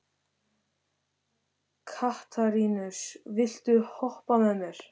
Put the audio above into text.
Katarínus, viltu hoppa með mér?